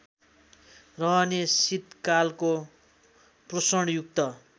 सहने शीतकालको पोषणयुक्त